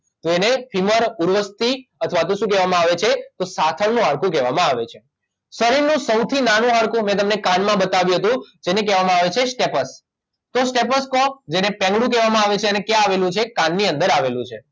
તો એને ફીમર ઉર્વસ્થિ અથવા તો શું કહેવામાં આવે છે તો સાથળનું હાડકું કહેવામાં આવે છે શરીરનું સૌથી નાનું હાડકું મેં તમને કાનમાં બતાવ્યું હતું જેને કહેવામાં આવે છે સ્ટેપસ તો સ્ટેપસ કો જેને પેગડું કહેવામાં આવે છે અને ક્યાં આવેલું છે કાનની અંદર આવેલું છે